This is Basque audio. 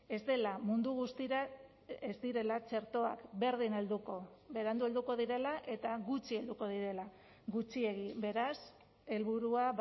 ez dela mundu guztira ez direla txertoak berdin helduko berandu helduko direla eta gutxi helduko direla gutxiegi beraz helburua